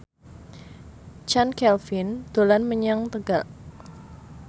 Chand Kelvin dolan menyang Tegal